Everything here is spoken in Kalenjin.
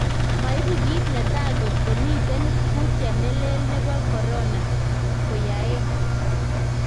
Maipu kit ne taa kotko miten kutiet nelee nepo corona koyaeng.